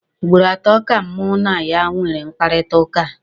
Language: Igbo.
Ugboro atọ ka mụ na ya nwere mkparịkọtaụka.